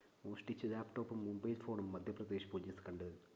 മോഷ്‌ടിച്ച ലാപ്‌ടോപ്പും മൊബൈൽ ഫോണും മധ്യപ്രദേശ് പൊലീസ് കണ്ടെടുത്തു